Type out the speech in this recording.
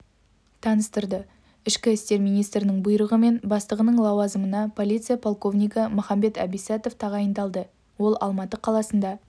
таныстырды ішкі істер министрінің бұйрығымен бастығының лауазымына полиция полковнигі махамбет абисатов тағайындалды ол алматы қаласында